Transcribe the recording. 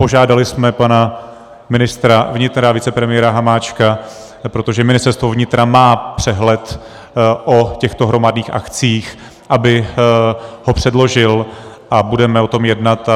Požádali jsme pana ministra vnitra, vicepremiéra Hamáčka, protože Ministerstvo vnitra má přehled o těchto hromadných akcích, aby ho předložil, a budeme o tom jednat.